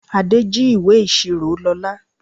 Adé jí ìwé ìṣirò Lóla.